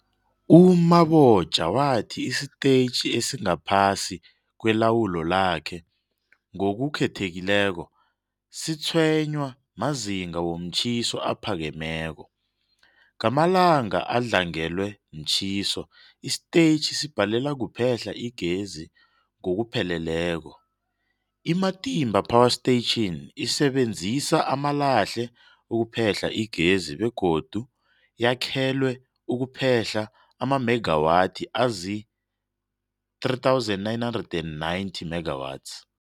U-Mabotja wathi isitetjhi esingaphasi kwelawulo lakhe, ngokukhethekileko, sitshwenywa mazinga womtjhiso aphakemeko. Ngamalanga adlangelwe mtjhiso, isitetjhi sibhalelwa kuphehla igezi ngokupheleleko. I-Matimba Power Station isebenzisa amalahle ukuphehla igezi begodu yakhelwe ukuphehla amamegawathi azii-3990 megawatts.